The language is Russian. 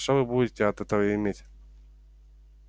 что вы будете от этого иметь